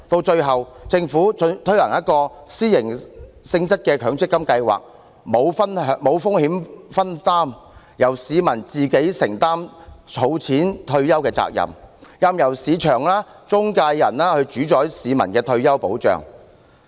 最後，政府推行了一個私營性質的強積金計劃，沒有風險分擔，由市民自行承擔儲蓄退休的責任，任由市場和中介人主宰市民的退休保障。